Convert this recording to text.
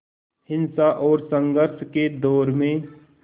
हिंसा और संघर्ष के दौर में